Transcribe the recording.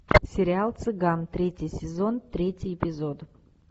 сериал цыган третий сезон третий эпизод